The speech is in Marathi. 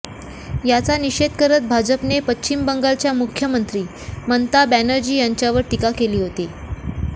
याचा निषेध करत भाजपने पश्चिम बंगालच्या मुख्यमंत्री ममता बॅनर्जी यांच्यावर टीका केली होती